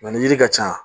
ni yiri ka ca